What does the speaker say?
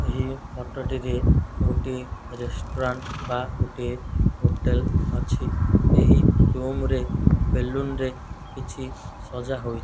ଏହି ଫଟୋ ଟିରେ ଗୋଟିଏ ରେଷ୍ଟୁରାଣ୍ଟ ବା ଗୋଟିଏ ହୋଟେଲ୍ ଅଛି ଏହି ରୁମ୍ ରେ ବେଲୁନ ରେ କିଛି ସଜା ହୋଇ --